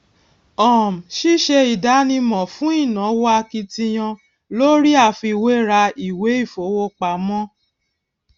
um ṣíṣe ìdánimọ fún ìnáwó akitiyan lórí àfiwéra ìwé ìfowópamọ